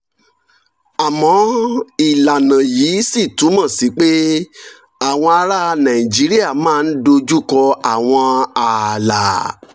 àmọ́ ìlànà yìí ṣì túmọ̀ sí pé àwọn ará nàìjíríà máa ń dojú kọ àwọn ààlà